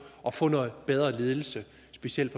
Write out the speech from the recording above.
at få noget bedre ledelse specielt